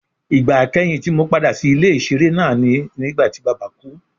Igba ikẹhin ti Mo pada si ile-iṣere naa ni nigbati baba ku